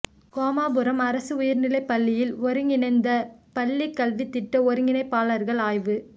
கோமாபுரம் அரசு உயர்நிலைப்பள்ளியில் ஒருங்கிணைந்த பள்ளி கல்வி திட்ட ஒருங்கிணைப்பாளர்கள் ஆய்வு